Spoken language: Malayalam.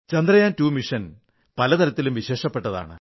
ചന്ദ്രയാൻ 2 ദൌത്യം പല തരത്തിലും വിശേഷപ്പെട്ടതാണ്